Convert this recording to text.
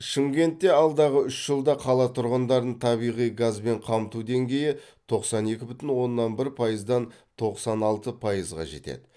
шымкентте алдағы үш жылда қала тұрғындарын табиғи газбен қамту деңгейі тоқсан екі бүтін оннан бір пайыздан тоқсан алты пайызға жетеді